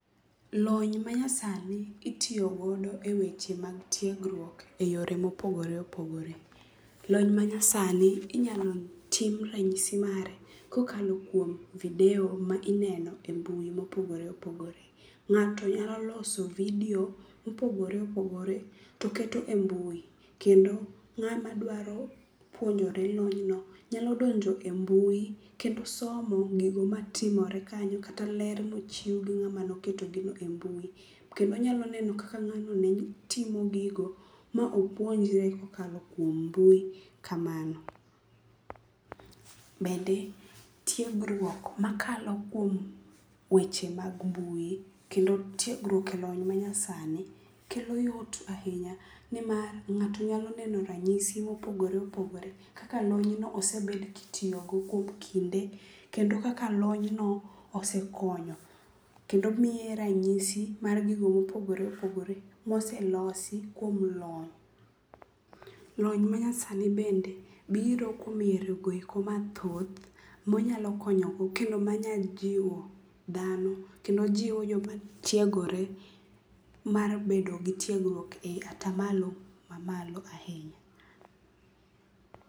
Lony manyasani itiyo godo eweche mag tiegruok eyore mopogore opogore. Lony manyasani inyalo tim ranyisi mare kokalo kuom video ma ineno e mbui mopogore opogore. Ng'ato nyalo loso video mopogore opogore to keto e mbui kendo ng'ama dwaro puonjore lonyno nyalo donjo e mbui kendo somo gigo matimore kanyo kata ler mochiw gi ng'ama ne oketo gino e mbui. Kendo onyalo neno kaka ng'ano ne timo gigo ma opuonjre kokalo kuom mbui kamano. Bende tiegruok makalo kuom weche mag mbui, kendo tiegruok e lony manyasani kelo yot ahinya nimar ng'ato nyalo neno ranyisi mopogore opogore kaka lonyno osebed kitiyogo kuom kinde, kendo kaka lonyno osekonyo, kendo miye ranyisi mar gigo mopogore opogore moselosi kuom lony. Lony manyasani bende biro kuom yoregoeko mathoth monyalo konyogo kendo manyalo jiwo dhano kendo jiwo joma tiegore mar bedo gi tiegruok e atamalo mamalo ahinya.